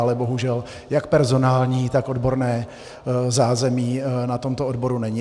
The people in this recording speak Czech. Ale bohužel jak personální, tak odborné zázemí na tomto odboru není.